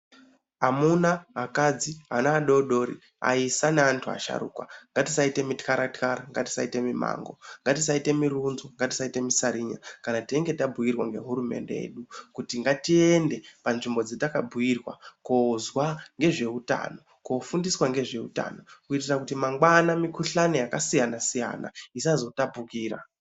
Amuna akadzi ana adodori aisa naantu asharuka ngatisaite mutkara tkara ngatisaite mimango ngatisaite murunzo ngatisaite musarinya kana teinge tabhuirwa ngehurumende yedu kuti ngatiende panzvimbo dzatakabhuirwa koozwa ngezveutano kofundiswa ngezveutano kuitire kuti mangwani mikhuhlana yakasiyana siyana isazotapukira.